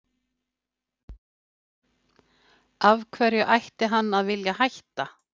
Af hverju ætti hann að vilja hætta?